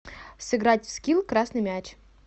сыграть в скил красный мяч